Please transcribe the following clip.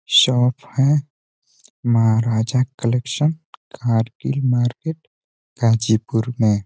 Shop है। Maharaja collection Kargil market Ghazipur में।